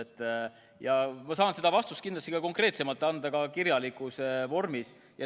Ma saan ka konkreetsema vastuse anda, aga teen seda kirjalikus vormis.